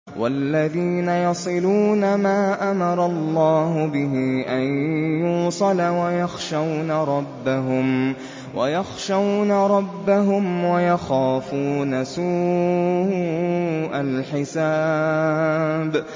وَالَّذِينَ يَصِلُونَ مَا أَمَرَ اللَّهُ بِهِ أَن يُوصَلَ وَيَخْشَوْنَ رَبَّهُمْ وَيَخَافُونَ سُوءَ الْحِسَابِ